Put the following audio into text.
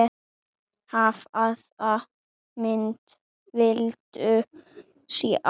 Hvaða mynd viltu sjá?